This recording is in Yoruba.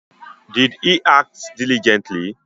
Be e yinuwa po sọwhiwhe po ya?